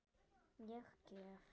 Ég gef.